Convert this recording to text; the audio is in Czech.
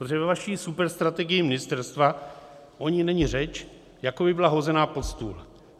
Protože ve vaší superstrategii ministerstva o ní není řeč, jako by byla hozena pod stůl.